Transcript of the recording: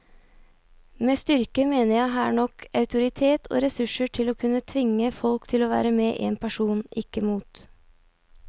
Med styrke mener jeg her nok autoritet og ressurser til å kunne tvinge folk til å være med en person, ikke mot.